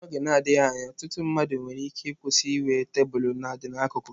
N'oge na-adịghị anya, ọtụtụ mmadụ nwere ike ịkwụsị inwe tebụl nadị n'akụkụ.